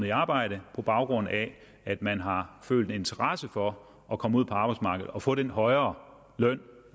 i arbejde på baggrund af at man har følt en interesse for at komme ud på arbejdsmarkedet og få den højere løn